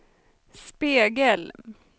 spegel